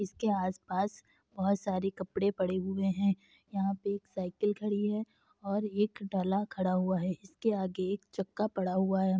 इसके आस-पास बहोत सारे कपड़े पड़े हुए हैं। यहाँ पे एक साइकिल खड़ी है और एक डला खड़ा हुआ है। इसके आगे एक चक्का पड़ा हुआ है।